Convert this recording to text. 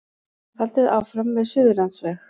Haldið áfram með Suðurlandsveg